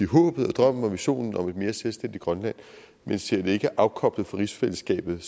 håbet drømmen og visionen om et mere selvstændigt grønland men ser det ikke afkoblet fra rigsfællesskabet det